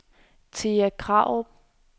Thea Krarup